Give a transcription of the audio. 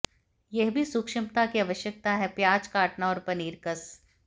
यह भी सूक्ष्मता की आवश्यकता है प्याज काटना और पनीर कस